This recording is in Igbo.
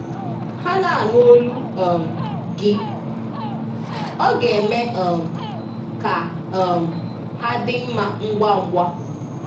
Ha na-anụ olu um gị, ọ ga-eme um ka um ha dị mma ngwa ngwa.